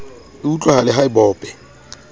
e utlwahale ha e bope